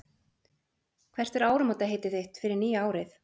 Hvert er áramótaheitið þitt fyrir nýja árið?